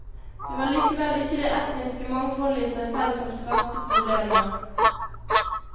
Det var likevel ikke det etniske mangfoldet i seg selv som skapte problemer.